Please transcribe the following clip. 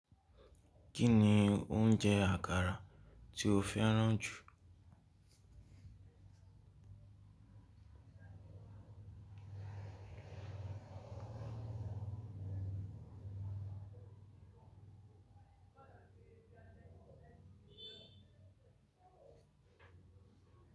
Kí ni oúnjẹ àkàrà tí o fẹ́ràn jù?